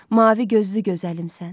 Mavi gözlü gözəlimsən.